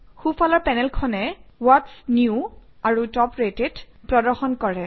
সোঁফালৰ পেনেলখনে what's new আৰু টপ ৰেটেড প্ৰদৰ্শন কৰে